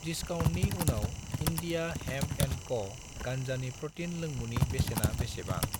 दिस्काउन्टनि उनाव India hemp and क' गान्जानि प्रटिन लोंमुनि बेसेना बेसेबां?